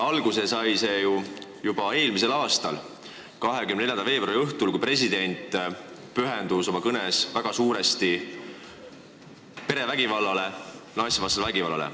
Alguse sai see ju eelmisel aastal 24. veebruari õhtul, kui president pühendus oma kõnes suurel määral perevägivallale, naistevastasele vägivallale.